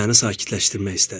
deyə məni sakitləşdirmək istədi.